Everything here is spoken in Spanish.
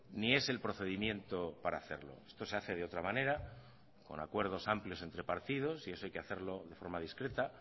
ni es el procedimiento para hacerlo esto se hace de otra manera con acuerdos amplios entre partidos y eso hay que hacerlo de forma discreta